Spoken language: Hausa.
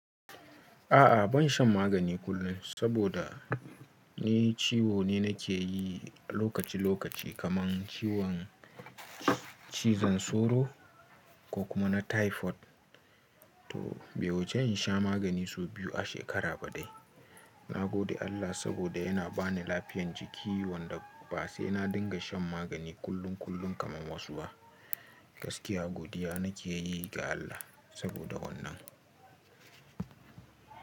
A'a ban sha magani kullum saboda ni ciwo ne nake yi a lokaci lokaci kaman ciwon cizon sauro ko kuma na typhoid. To bai wuce in sha magani sau biyu a shekara ba dai. Na gode Allah saboda yana ba ni lafiyan jiki wanda ba sai na dinga shan magani kullum kullum kaman wasu ba. Gaskiya godiya nake yi ga Allah saboda wannan.